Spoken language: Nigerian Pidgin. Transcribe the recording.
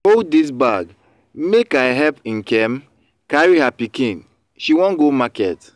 hold dis bag make i help nkem carry her pikin she wan go market